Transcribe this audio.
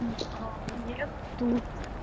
а мне тут